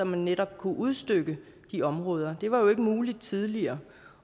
man netop kunne udstykke de områder det var jo ikke muligt tidligere